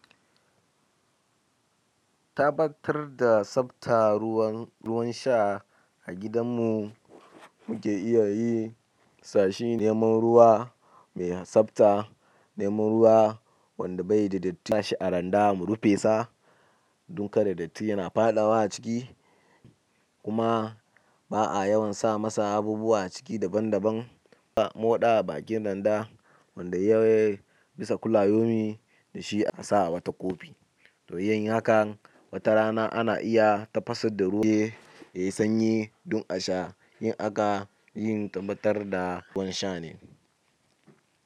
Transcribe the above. Tabatar da sabta ruwan ruwan sha a gidan mu muke iya yi sashi neman ruwa mai sabta. Neman ruwa wanda bai da datti sa shi a randa mu rufe sa dun kada datti yana faɗawa a ciki kuma ba'a yawan sa masa abubuwa a ciki daban daban. Moɗa a bakin randa wanda ya bisa kula yomi da shi a sa a wa takobi. Toyin hakan wata rana ana iya tafasar da ruwa yayi sanyi dun a sha in aga yin tabbatar da ruwan sha ne.